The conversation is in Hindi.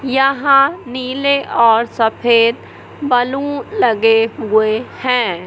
यहां नीले और सफेद बलून लगे हुए हैं।